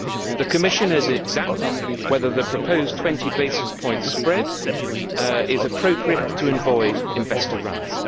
The Commission is examining whether the proposed 20 basis point spread is appropriate to avoid investor runs.